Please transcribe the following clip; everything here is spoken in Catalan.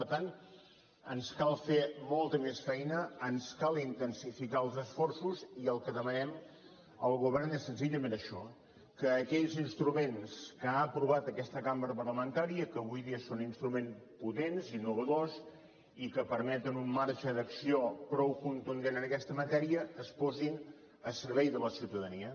per tant ens cal fer molta més feina ens cal intensificar els esforços i el que demanem al govern és senzillament això que aquells instruments que ha aprovat aquesta cambra parlamentària que avui dia són instruments potents innovadors i que permeten un marge d’acció prou contundent en aquesta matèria es posin a servei de la ciutadania